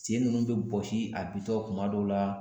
Sen ninnu bɛ bɔsi a bintɔ kuma dɔw la